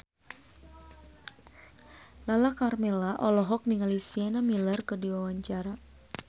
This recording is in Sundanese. Lala Karmela olohok ningali Sienna Miller keur diwawancara